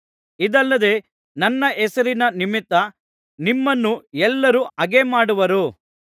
ಇದಲ್ಲದೆ ನನ್ನ ಹೆಸರಿನ ನಿಮಿತ್ತ ನಿಮ್ಮನ್ನು ಎಲ್ಲರೂ ಹಗೆಮಾಡುವರು